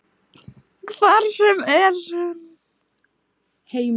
Hvar sem er.